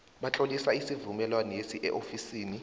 batlolisa isivumelwaneso eofisini